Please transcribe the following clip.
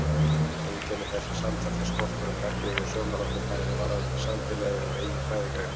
Einkenni þessa samtals er skortur á gagnrýnu sjónarhorni bæði varðandi samfélagið og eigin fræðigrein.